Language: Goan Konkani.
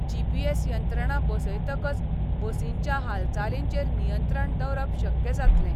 जीपीएस यंत्रणा बसयतकच बसींच्या हालचालींचेर नियंत्रण दवरप शक्य जातलें.